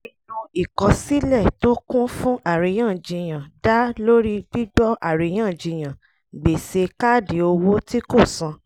ìpinnu ìkọ̀sílẹ̀ tó kún fún àríyànjiyàn dá lórí gbígbọ́ àríyànjiyàn gbèsè káàdì owó tí kò san